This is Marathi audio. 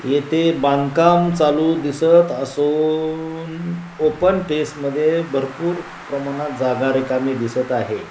इथे बांधकाम चालू दिसत असून ओपन फेस मध्ये भरपूर जागा प्रमाणात रिकामी दिसत आहे.